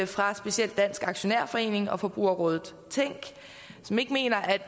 fra specielt dansk aktionærforening og forbrugerrådet tænk som ikke mener at